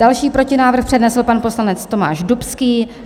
Další protinávrh přednesl pan poslanec Tomáš Dubský.